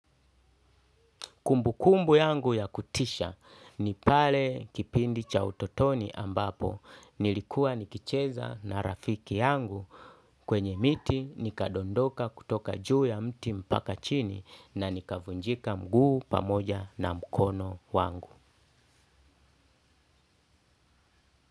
Kumbukumbu yangu ya kutisha ni pale kipindi cha utotoni ambapo nilikuwa nikicheza na rafiki yangu kwenye miti nikadondoka kutoka juu ya mti mpaka chini na nikavunjika mguu pamoja na mkono wangu.